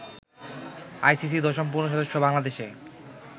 ICC দশম পূর্ণ সদস্য বাংলাদেশে